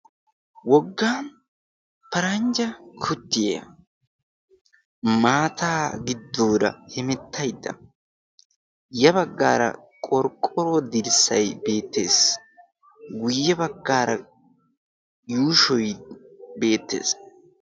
wogga paranjja kutiyaa maataa giddoora hemettaydda ya baggaara qorqqoro dirssay beettees guyye baggaara yuushoy beettees